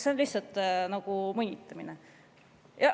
See on lihtsalt nagu mõnitamine.